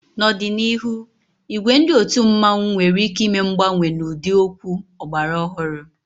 N'ọdịnihu, ìgwè ndị otu mmanwu nwere ike ime mgbanwe n'ụdị okwu ọgbara ọhụrụ.